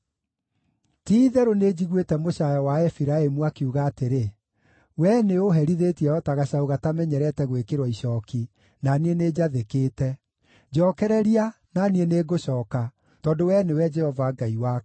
“Ti-itherũ nĩnjiguĩte mũcaayo wa Efiraimu akiuga atĩrĩ: ‘Wee nĩũũherithĩtie o ta gacaũ gatamenyerete gwĩkĩrwo icooki, na niĩ nĩnjathĩkĩte. Njokereria, na niĩ nĩngũcooka, tondũ wee nĩwe Jehova Ngai wakwa.